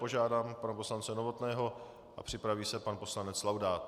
Požádám pana poslance Novotného a připraví se pan poslanec Laudát.